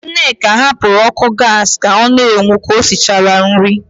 Nneka hapụrụ ọ́kụ́ gaasị ka ọ na-enwu ka o sichara nri.